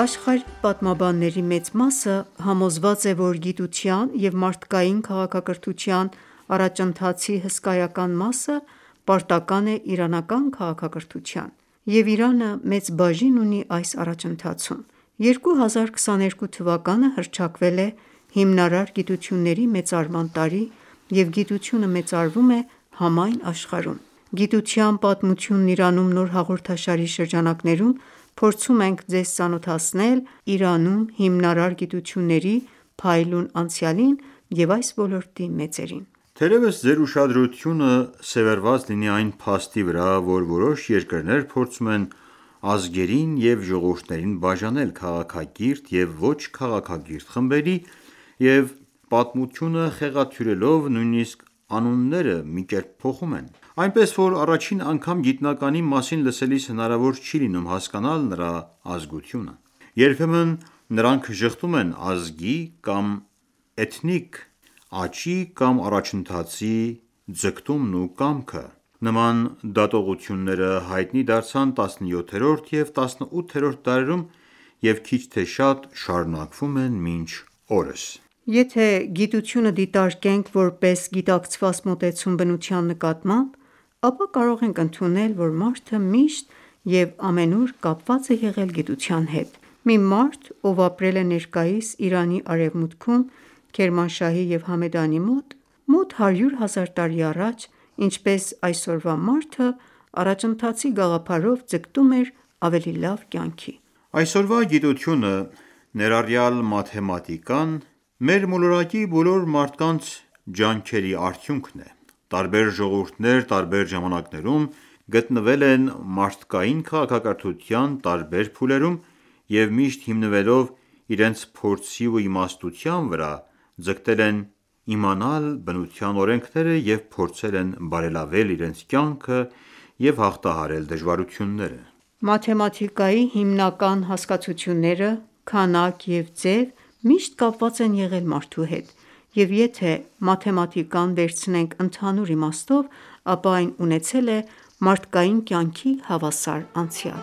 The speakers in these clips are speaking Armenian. Աշխարհի պատմաբանների մեծ մասը համոզված է, որ գիտության և մարդկային քաղաքակրթության առաջընթացի հսկայական մասը պարտական է իրանական քաղաքակրթության, և Իրանը մեծ բաժին ունի այս առաջընթացում: 2022 թվականը հռչակվել է հիմնարար գիտությունների մեծարման տարի և գիտությունը մեծարվում է համայն աշխարհում: «Գիտության պատմությունն Իրանում» նոր հաղորդաշարի շրջանակներում փորձում ենք ձեզ ծանոթացնել Իրանում հիմնարար գիտությունների փայլուն անցյալին և այս ոլորտի մեծերին։ Թերևս ձեր ուշադրությունը սևեռված լինի այն փաստի վրա, որ որոշ երկրներ փորձում են ազգերին և ժողովուրդներին բաժանել քաղաքակիրթ և ոչ քաղաքակիրթ խմբերի, և պատմությունը խեղաթյուրելով նույնիսկ անունները մի կերպ փոխում են: Այնպես որ առաջին անգամ գիտնականի մասին լսելիս հնարավոր չի լինում հասկանալ նրա ազգությունը: Երբեմն նրանք ժխտում են ազգի կամ էթնիկ աճի կամ առաջընթացի ձգտումն ու կամքը: Նման դատողությունները հայտնի դարձան 17-րդ և 18-րդ դարերում և քիչ թե շատ շարունակվում են մինչ օրս։ Եթե ​​գիտությունը դիտարկենք որպես գիտակցված մոտեցում բնության նկատմամբ, ապա կարող ենք ընդունել, որ մարդը միշտ և ամենուր կապված է եղել գիտության հետ։ Մի մարդ, ով ապրել է ներկայիս Իրանի արևմուտքում (Քերմանշահի և Համեդանի մոտ) մոտ հարյուր հազար տարի առաջ, ինչպես այսօրվա մարդը, առաջընթացի գաղափարով ձգտում էր ավելի լավ կյանքի: Այսօրվա գիտությունը, ներառյալ մաթեմատիկան, մեր մոլորակի բոլոր մարդկանց ջանքերի արդյունքն է: Տարբեր ժողովուրդներ տարբեր ժամանակներում գտնվել են մարդկային քաղաքակրթության տարբեր փուլերում և միշտ հիմնվելով իրենց փորձի ու իմաստության վրա՝ ձգտել են իմանալ բնության օրենքները և փորձել են բարելավել իրենց կյանքը և հաղթահարել դժվարությունները: Մաթեմատիկայի հիմնական հասկացությունները՝ քանակ և ձև, միշտ կապված են եղել մարդու հետ, և եթե մաթեմատիկան վերցնենք ընդհանուր իմաստով, ապա այն ունեցել է մարդկային կյանքին հավասար անցյալ։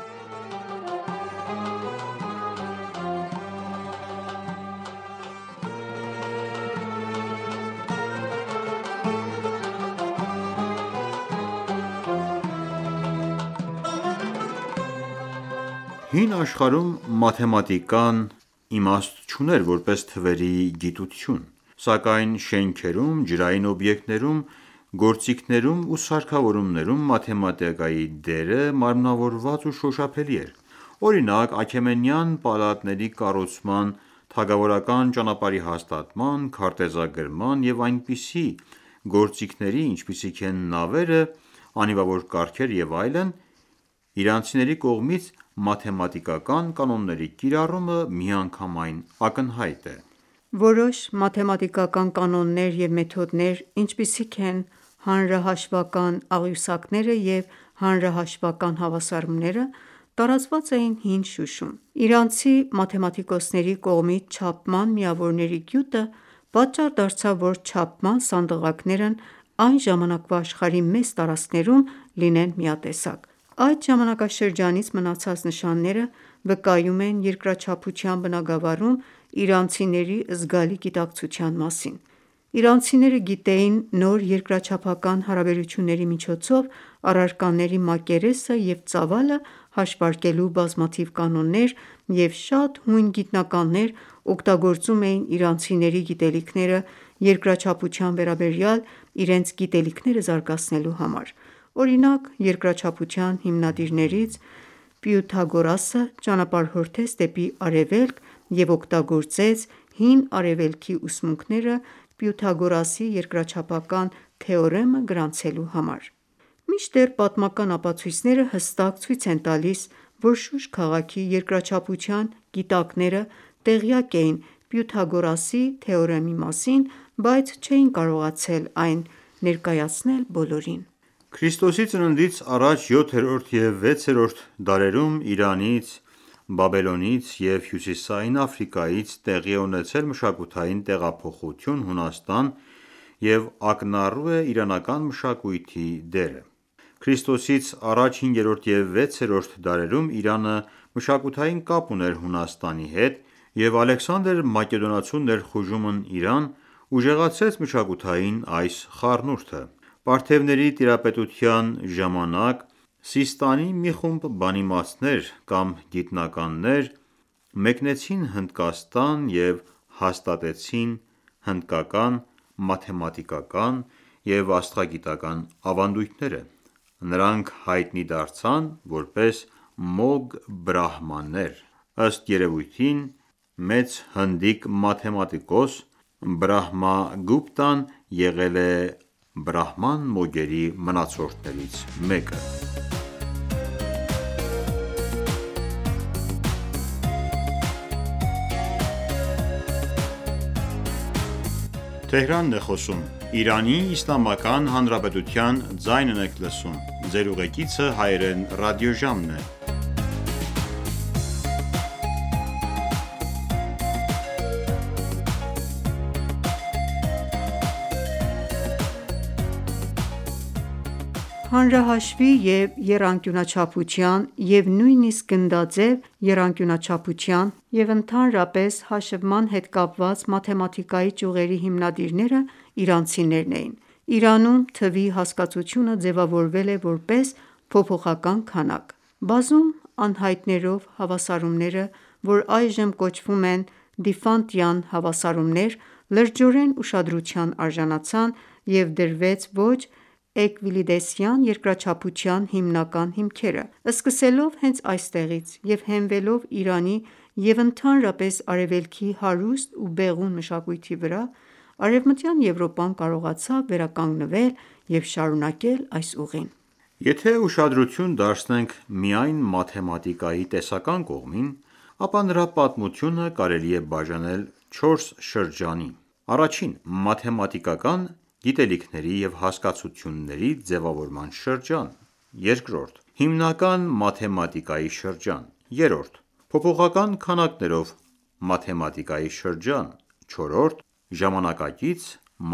Հին աշխարհում մաթեմատիկան իմաստ չուներ որպես թվերի գիտություն, սակայն շենքերում, ջրային օբյեկտներում, գործիքներում ու սարքավորումներում մաթեմատիկայի դերը մարմնավորված ու շոշափելի էր։ Օրինակ՝ Աքեմենյան պալատների կառուցման, թագավորական ճանապարհի հաստատման, քարտեզագրման և այնպիսի գործիքների, ինչպիսիք են նավերը, անիվավոր կառքերը և այլն, իրանցիների կողմից մաթեմատիկական կանոնների կիրառումը միանգամայն ակնհայտ է։ Որոշ մաթեմատիկական կանոններ և մեթոդներ, ինչպիսիք են հանրահաշվական աղյուսակները և հանրահաշվական հավասարումները, տարածված էին հին Շուշում։ Իրանցի մաթեմատիկոսների կողմից չափման միավորների գյուտը պատճառ դարձավ, որ չափման սանդղակներն այն ժամանակվա աշխարհի մեծ տարածքներում լինեն միատեսակ։ Այդ ժամանակաշրջանից մնացած նշանները վկայում են երկրաչափության բնագավառում իրանցիների զգալի գիտակցության մասին։ Իրանցիները գիտեին նոր երկրաչափական հարաբերությունների միջոցով առարկաների մակերեսը և ծավալը հաշվարկելու բազմաթիվ կանոններ, և շատ հույն գիտնականներ օգտագործում էին իրանցիների գիտելիքները երկրաչափության վերաբերյալ իրենց գիտելիքները զարգացնելու համար: Օրինակ՝ երկրաչափության հիմնադիրներից Պյութագորասը՝ ճանապարհորդեց դեպի Արևելք և օգտագործեց հին Արևելքի ուսմունքները Պյութագորասի երկրաչափական թեորեմը գրանցելու համար։ Մինչդեռ պատմական ապացույցները հստակ ցույց են տալիս, որ Շուշ քաղաքի երկրաչափության գիտակները տեղյակ էին Պյութագորասի թեորեմի մասին, բայց չէին կարողացել այն ներկայացնել բոլորին: Ք.ծ․ա. յոթերորդ և վեցերորդ դարերում Իրանից, Բաբելոնից և Հյուսիսային Աֆրիկայից տեղի է ունեցել մշակութային տեղափոխություն Հունաստան, և ակնառու է իրանական մշակույթի դերը։ Ք.ծ․ա. հինգերորդ և վեցերորդ դարերում Իրանը մշակութային կապ ուներ Հունաստանի հետ, և Ալեքսանդր Մակեդոնացու ներխուժումն Իրան ուժեղացրեց մշակութային այս խառնուրդը: Պարթեւների տիրապետության ժամանակ Սիստանի մի խումբ բանիմացներ կամ գիտնականներ մեկնեցին Հնդկաստան և հաստատեցին հնդկական մաթեմատիկական և աստղագիտական ​​ավանդույթները։ Նրանք հայտնի դարձան որպես մոգ-բրահմաններ։ Ըստ երևույթին, մեծ հնդիկ մաթեմատիկոս Բրահմագուպտան եղել է բրահման մոգերի մնացորդներից մեկը: Հանրահաշվի և եռանկյունաչափության (և նույնիսկ գնդաձև եռանկյունաչափության) և ընդհանրապես հաշվման հետ կապված մաթեմատիկայի ճյուղերի հիմնադիրները իրանցիներն էին։ Իրանում թվի հասկացությունը ձեւավորվել է որպես փոփոխական քանակ։ Բազում անհայտներով հավասարումները, որ այժմ կոչվում են Դիֆանտյան հավասարումներ, լրջորեն ուշադրության արժանացան և դրվեց ոչ Էվկլիդեսյան երկրաչափության հիմնական հիմքերը։ Սկսելով հենց այստեղից և հենվելով Իրանի (և ընդհանրապես Արևելքի) հարուստ ու բեղուն մշակույթի վրա, Արևմտյան Եվրոպան կարողացավ վերականգնվել և շարունակել այս ուղին: Եթե ​​ուշադրություն դարձնենք միայն մաթեմատիկայի տեսական կողմին, ապա նրա պատմությունը կարելի է բաժանել չորս շրջանի. -Մաթեմատիկական գիտելիքների և հասկացությունների ձևավորման շրջանը - Հիմնական մաթեմատիկայի շրջանը - Փոփոխական քանակներով մաթեմատիկայի շրջան -Ժամանակակից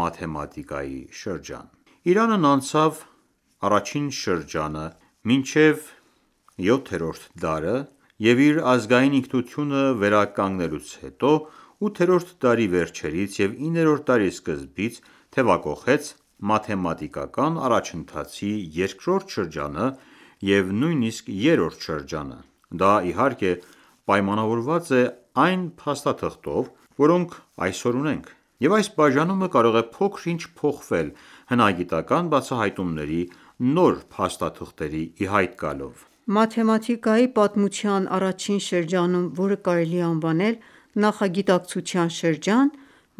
մաթեմատիկայի շրջան Իրանն անցավ առաջին շրջանը մինչև մ.թ. յոթերորդ դարը, և իր ազգային ինքնությունը վերականգնելուց հետո, մ.թ. ութերորդ դարի վերջերից և 9-րդ դարի սկզբից, թեւակոխեց մաթեմատիկական առաջընթացի երկրորդ շրջանը և նույնիսկ երրորդ շրջանը: Դա, իհարկե, պայմանավորված է այն փաստաթղթերով, որոնք այսօր ունենք, և այս բաժանումը կարող է փոքր-ինչ փոխվել հնագիտական ​​բացահայտումների և նոր փաստաթղթերի ի հայտ գալով: Մաթեմատիկայի պատմության առաջին շրջանում (որը կարելի է անվանել «նախագիտակցության» շրջան)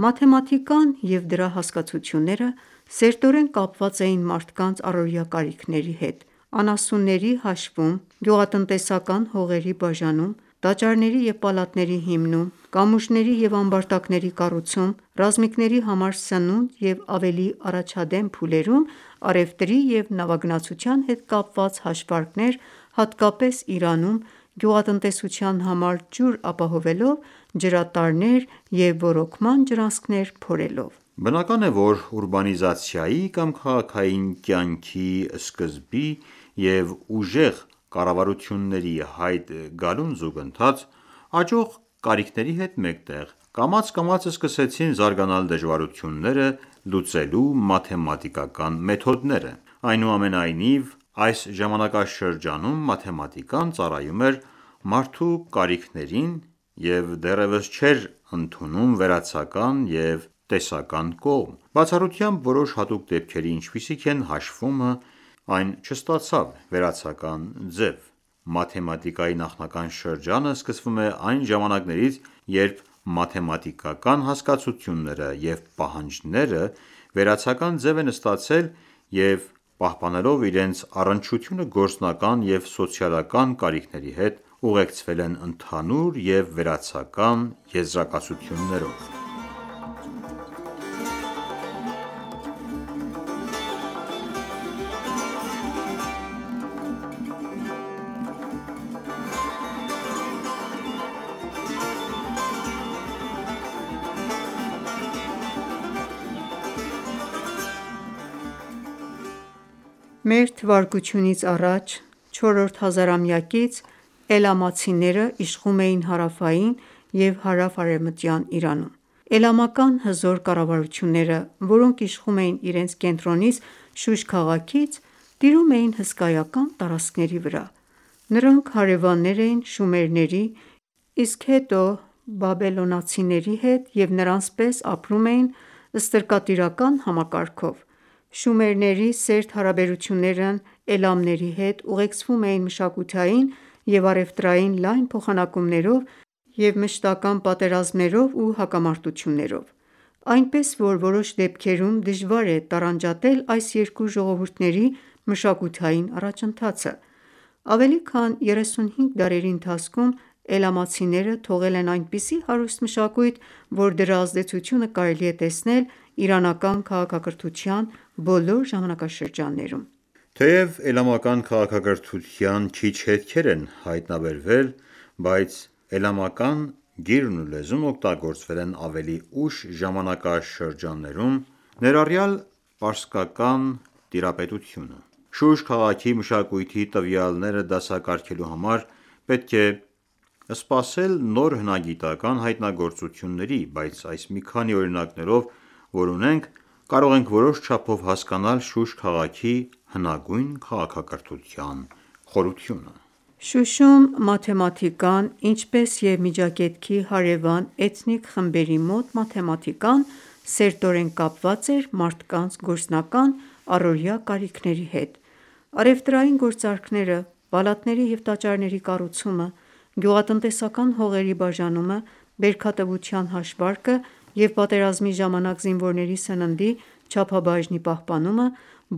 մաթեմատիկան և դրա հասկացությունները սերտորեն կապված էին մարդկանց առօրյա կարիքների հետ՝ անասունների հաշվում, գյուղատնտեսական հողերի բաժանում, տաճարների և պալատների հիմնում, Կամուրջների և ամբարտակների կառուցում, ռազմիկների համար սնունդ և ավելի առաջադեմ փուլերում, առևտրի և նավագնացության հետ կապված հաշվարկներ, հատկապես Իրանում, գյուղատնտեսության համար ջուր ապահովելով՝ ջրատարներ և ոռոգման ջրանցքներ փորելով: Բնական է, որ ուրբանիզացիայի կամ քաղաքային կյանքի սկզբի և ուժեղ կառավարությունների ի հայտ գալուն զուգընթաց, աճող կարիքների հետ մեկտեղ, կամաց-կամաց սկսեցին զարգանալ դժվարությունները լուծելու մաթեմատիկական մեթոդները։ Այնուամենայնիվ, այս ժամանակաշրջանում մաթեմատիկան ծառայում էր մարդու կարիքներին և դեռևս չէր ընդունում վերացական և տեսական կողմ, բացառությամբ որոշ հատուկ դեպքերի, ինչպիսիք են հաշվումը, այն չստացավ վերացական ձև: Մաթեմատիկայի նախնական շրջանը սկսվում է այն ժամանակներից, երբ մաթեմատիկական հասկացությունները և պահանջները վերացական ձև են ստացել և, պահպանելով իրենց առնչությունը գործնական և սոցիալական կարիքների հետ, ուղեկցվել են ընդհանուր և վերացական եզրակացություններով: Մ.թ.ա. IV հազարամյակից Էլամացիները իշխում էին հարավային և հարավ-արևմտյան Իրանում: Էլամական հզոր կառավարությունները, որոնք իշխում էին իրենց կենտրոնից՝ Շուշ քաղաքից, տիրում էին հսկայական տարածքների վրա: Նրանք հարևաններ էին շումերների, իսկ հետո՝ բաբելոնացիների հետ և նրանց պես ապրում էին ստրկատիրական համակարգով: Շումերների սերտ Էլամների հետ ուղեկցվում էին մշակութային և առևտրային լայն փոխանակումներով և մշտական ​​պատերազմներով ու հակամարտություններով: Այնպես, որ որոշ դեպքերում դժվար է տարանջատել այս երկու ժողովուրդների մշակութային առաջընթացը։ Ավելի քան երեսունհինգ դարերի ընթացքում Էլամացիները թողել են այնպիսի հարուստ մշակույթ, որ դրա ազդեցությունը կարելի է տեսնել իրանական քաղաքակրթության բոլոր ժամանակաշրջաններում: Թեև Էլամական քաղաքակրթության քիչ հետքեր են հայտնաբերվել, բայց էլամական գիրն ու լեզուն օգտագործվել են ավելի ուշ ժամանակաշրջաններում, ներառյալ պարսկական տիրապետությունը։ Շուշ քաղաքի մշակույթի տվյալները դասակարգելու համար պետք է սպասել նոր հնագիտական​​ հայտնագործությունների, բայց այս մի քանի օրինակներով, որ ունենք, կարող ենք որոշ չափով հասկանալ Շուշ քաղաքի հնագույն քաղաքակրթության խորությունը։ Շուշում մաթեմատիկան, ինչպես և Միջագետքի հարևան էթնիկ խմբերի մոտ մաթեմատիկան, սերտորեն կապված էր մարդկանց գործնական առօրյա կարիքների հետ։ Առևտրային գործարքները, պալատների և տաճարների կառուցումը, գյուղատնտեսական հողերի բաժանումը, բերքատվության հաշվարկը և պատերազմի ժամանակ զինվորների սննդի չափաբաժնի պահպանումը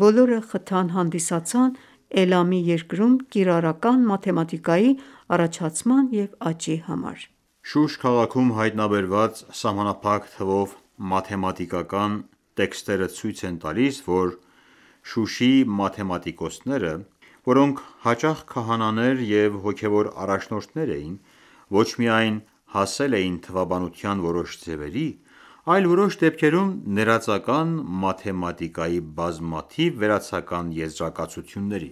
բոլորը խթան հանդիսացան Էլամի երկրում կիրառական մաթեմատիկայի առաջացման և աճի համար: Հնագույն Շուշ քաղաքի ամենաառանձնահատուկ գտածոներից մեկը մի փաստաթուղթ է, որը վկայում է Հին Իրանում մաթեմատիկայի նկատմամբ ուշադրության մասին: Այն 3400 տարվա հնության կավե տախտակն է՝ երկրաչափություն թեմայով։ Շուշ քաղաքում հայտնաբերված սահմանափակ թվով մաթեմատիկական տեքստերը ցույց են տալիս, որ Շուշի մաթեմատիկոսները, որոնք հաճախ քահանաներ և հոգևոր առաջնորդներ էին, ոչ միայն հասել էին թվաբանության որոշ ձևերի, այլ որոշ դեպքերում ներածական մաթեմատիկային բազմաթիվ վերացական եզրակացությունների: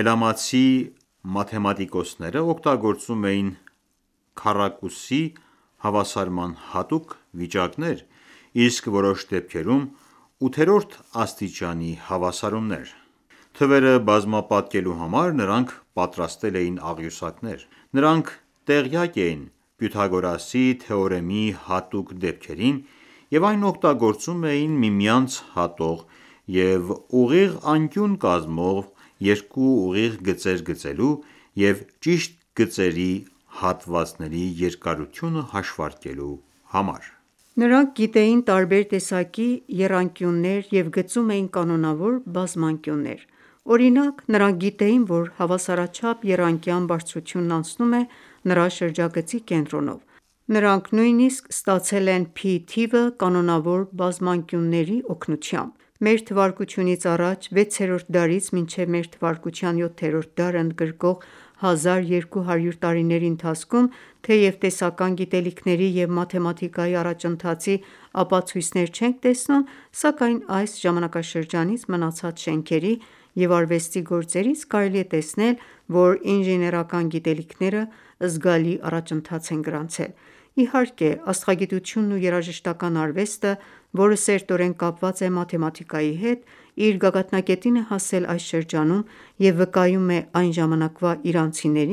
Էլամացի մաթեմատիկոսներն օգտագործում էին քառակուսի հավասարման հատուկ վիճակներ, իսկ որոշ դեպքերում՝ ութերորդ աստիճանի հավասարումներ։ Թվերը բազմապատկելու համար նրանք պատրաստել էին աղյուսակներ: Նրանք տեղյակ էին Պյութագորասի թեորեմի հատուկ դեպքերին և այն օգտագործում էին միմյանց հատող և ուղիղ անկյուն կազմող երկու ուղիղ գծեր գծելու և ճիշտ գծերի հատվածների երկարությունը հաշվարկելու համար։ Նրանք գիտեին տարբեր տեսակի եռանկյուններ և գծում էին կանոնավոր բազմանկյուններ: Օրինակ, նրանք գիտեին, որ հավասարաչափ եռանկյան բարձրությունն անցնում է նրա շրջագծի կենտրոնով։ Նրանք նույնիսկ ստացել են pi թիվը կանոնավոր բազմանկյունների օգնությամբ։ Մ.թ.ա. վեցերորդ դարից մինչև մ.թ. յոթերորդ դարը ընդգրկող հազար երկու հարյուր տարիների ընթացքում, թեև տեսական գիտելիքների և մաթեմատիկայի առաջընթացի ապացույցներ չենք տեսնում, սակայն այս ժամանակաշրջանից մնացած շենքերի և արվեստի գործերից կարելի է տեսնել, որ Ինժեներական գիտելիքները զգալի առաջընթաց են գրանցել։ Իհարկե, աստղագիտությունն ու երաժշտական ​​արվեստը, որը սերտորեն կապված է մաթեմատիկայի հետ, իր գագաթնակետին է հասել այս շրջանում և վկայում է այն ժամանակվա իրանցիների